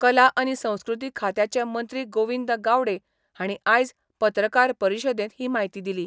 कला आनी संस्कृती खात्याचे मंत्री गोविंद गावडे हांणी आयज पत्रकार परिशदेंत ही म्हायती दिली.